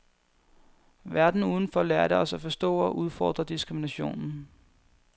Verden udenfor lærte os at forstå og at udfordre diskriminationen.